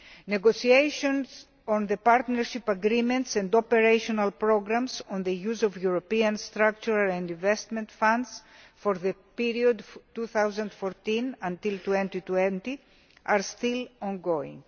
Negotiations on the partnership agreements and operational programmes on the use of European structural and investment funds for the period 2014 until 2020 are still ongoing.